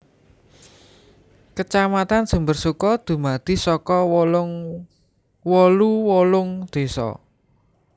Kacamatan Sumbersuko dumadi saka wolu wolung désa